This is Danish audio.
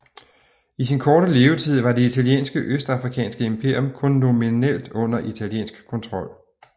I sin korte levetid var det italienske østafrikanske imperium kun nominelt under italiensk kontrol